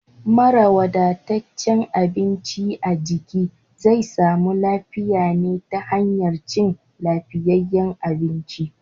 Mara wadataccen abinci a jiki zai samu lafiya ne ta hanyar cin lafiyayyen abinci.